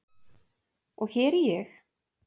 Og hér er ég!